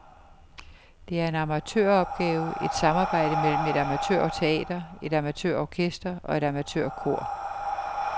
Det er en amatøropgave, et samarbejde mellem et amatørteater, et amatørorkester og et amatørkor.